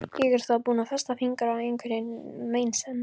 Ég var þá búin að festa fingur á einhverri meinsemd.